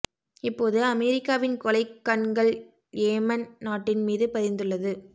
இப்போது அமெரிக்காவின் கொலைக் கண்கள் யேமென் நாட்டின் மீது பதிந்துள்ளது